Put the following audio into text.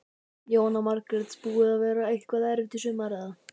Jóhanna Margrét: Búið að vera eitthvað erfitt í sumar eða?